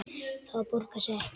Það borgar sig ekki